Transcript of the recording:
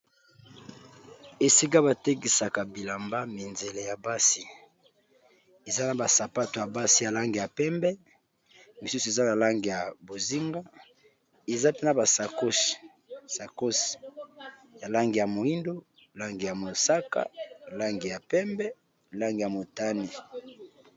Esika batekisaka bilamba minzele ya basi eza na basapato ya basi ya langi ya pembe misusu eza ya bozinga pe na basakosi ya moindo, mosaka, pembe na motani.